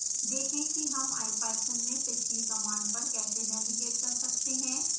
देखें कि हम ipython में पिछली कमांड पर कैसे नेविगेट कर सकते हैं